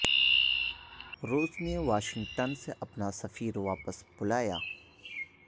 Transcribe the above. روس نے واشنگٹن سے اپنا سفیر واپس بلا لیا